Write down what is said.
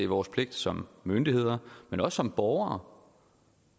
vores pligt som myndigheder men også som borgere